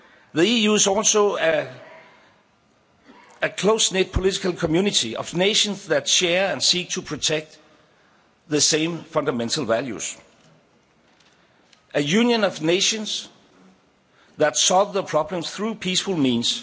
The EU is also a close knit political community of nations that share and seek to protect the same fundamental values, a Union of nations that solve their problems through peaceful means.